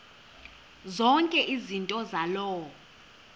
zonke izinto zaloo